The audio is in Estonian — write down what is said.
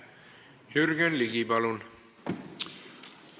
Jürgen Ligi, palun!